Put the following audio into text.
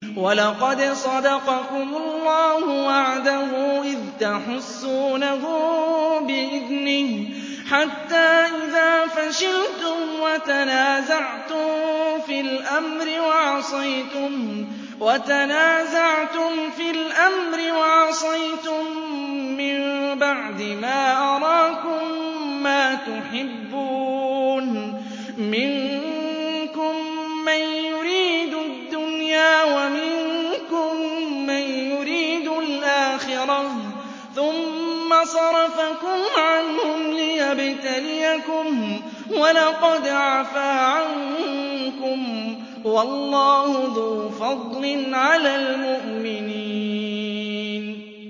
وَلَقَدْ صَدَقَكُمُ اللَّهُ وَعْدَهُ إِذْ تَحُسُّونَهُم بِإِذْنِهِ ۖ حَتَّىٰ إِذَا فَشِلْتُمْ وَتَنَازَعْتُمْ فِي الْأَمْرِ وَعَصَيْتُم مِّن بَعْدِ مَا أَرَاكُم مَّا تُحِبُّونَ ۚ مِنكُم مَّن يُرِيدُ الدُّنْيَا وَمِنكُم مَّن يُرِيدُ الْآخِرَةَ ۚ ثُمَّ صَرَفَكُمْ عَنْهُمْ لِيَبْتَلِيَكُمْ ۖ وَلَقَدْ عَفَا عَنكُمْ ۗ وَاللَّهُ ذُو فَضْلٍ عَلَى الْمُؤْمِنِينَ